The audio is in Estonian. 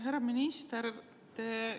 Härra minister!